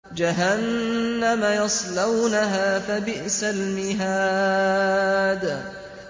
جَهَنَّمَ يَصْلَوْنَهَا فَبِئْسَ الْمِهَادُ